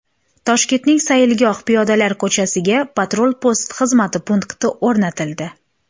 Toshkentning Sayilgoh piyodalar ko‘chasiga patrul-post xizmati punkti o‘rnatildi.